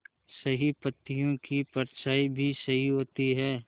सही पत्तियों की परछाईं भी सही होती है